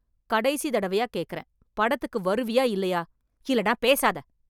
கடைசி தடவியா கேட்குறேன். படத்துக்கு வருவியா இல்லையா ? இல்லனா பேசாத!